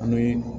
An bɛ